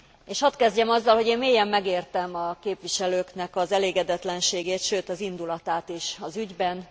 És hadd kezdjem azzal, hogy én mélyen megértem a képviselőknek az elégedetlenségét, sőt az indulatát is az ügyben.